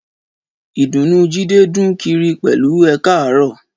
Ìdùnnú Jídé dún kiri pẹ̀lú Ẹ káàárọ̀